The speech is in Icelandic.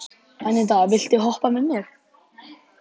Anita, viltu hoppa með mér?